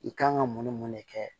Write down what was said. I kan ka mun ni mun de kɛ